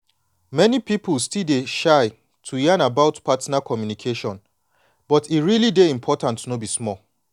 many people still dey shy to yan about partner communication but e really dey important no be small.